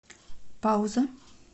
пауза